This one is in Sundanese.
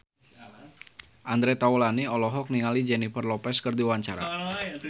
Andre Taulany olohok ningali Jennifer Lopez keur diwawancara